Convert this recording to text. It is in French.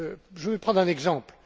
Je vais prendre un exemple.